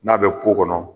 N'a bɛ ko kɔnɔ